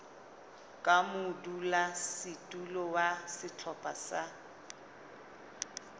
ka modulasetulo wa sehlopha sa